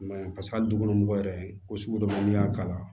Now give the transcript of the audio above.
I ma ye paseke hali du kɔnɔ mɔgɔ yɛrɛ ko sugu dɔ bɛ yen n'i y'a k'a la